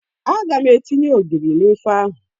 Aga m etinye ogiri n'ofe ahụ.